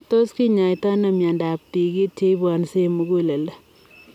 Tos kinyaitoo anoo miondoop tigit cheibwansei eng muguleldo?